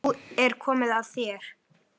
Nú er komið að þér.